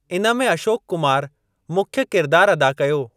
इन में अशोक कुमार मुख्य किरदार अदा कयो।